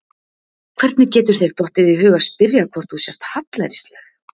Hvernig getur þér dottið í hug að spyrja hvort þú sért hallærisleg!